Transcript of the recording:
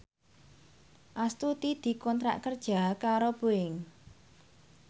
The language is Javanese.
Astuti dikontrak kerja karo Boeing